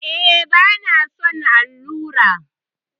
E, bana son allura.